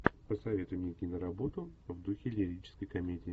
посоветуй мне киноработу в духе лирической комедии